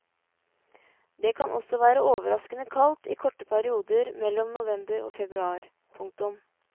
Det kan også være overraskende kaldt i korte perioder mellom november og februar. punktum